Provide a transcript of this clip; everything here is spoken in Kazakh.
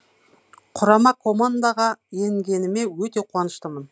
құрама командаға енгеніме өте қуаныштымын